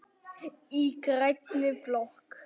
Í grænni blokk